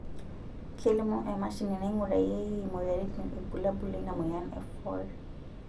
kelimu emashini naingurarieki imoyiaritin irbulabol lena moyian e for